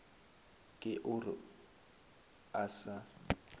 ke o re a sa